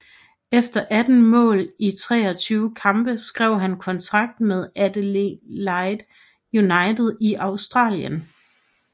Efter 18 mål i 23 kampe skrev han kontrakt med Adelaide United i Australien